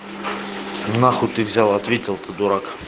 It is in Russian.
нахуй ты взял ответил ты дурак